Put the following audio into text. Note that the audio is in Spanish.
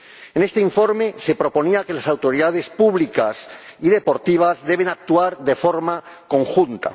En este informe se proponía que las autoridades públicas y deportivas deben actuar de forma conjunta.